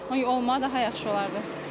O olmağı daha yaxşı olardı.